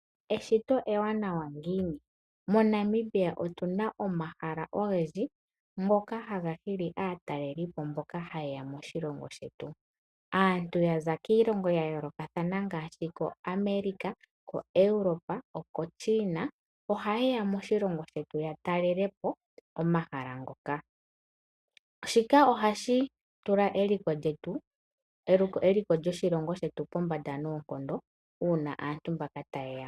Eshito ewanawa ngiini? MoNamibia otu na mo omahala ogendji ngoka haga hili aatalelipo mboka haye ya moshilongo shetu. Aantu ya za kiilongo ya yoolokathana ngaashi koAmerica, koEuropa nokoChina ohaye ya moshilongo ya talele po omahala ngoka. Shika ohashi tula eliko lyoshilongo shetu pombanda noonkondo uuna aantu mbaka taye ya mo.